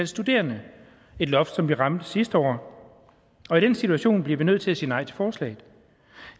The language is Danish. studerende et loft som vi ramte sidste år og i den situation bliver vi nødt til at sige nej til forslaget